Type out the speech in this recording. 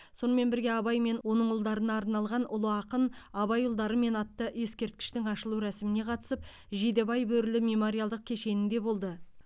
сонымен бірге абай мен оның ұлдарына арналған ұлы ақын абай ұлдарымен атты ескерткіштің ашылу рәсіміне қатысып жидебай бөрілі мемориалдық кешенінде болды